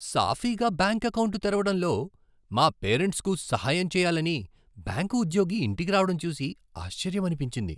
సాఫీగా bank account తెరవడంలో మా పేరెంట్స్కు సహాయం చేయాలని బ్యాంకు ఉద్యోగి ఇంటికి రావడం చూసి ఆశ్చర్యమనిపించింది.